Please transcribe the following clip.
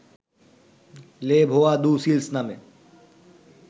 লে ভোয়া দু সিলঁস নামে